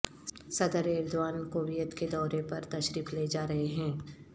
صدر Erdogan Kuwait کے دورے پر تشریف لے جا رہے ہیں